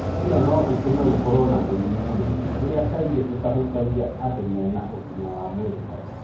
Ĩno no ĩtũme gũkoro na mirimũ mũnene ũrĩa kaingĩ ũtahutagia andũ mena ũgimavwa mwĩrĩ mwega.